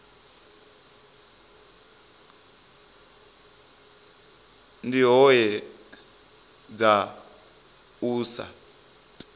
ndi hoea dza u sa